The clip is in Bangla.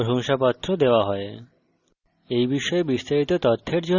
যারা online পরীক্ষা pass করে তাদের প্রশংসাপত্র দেওয়া হয়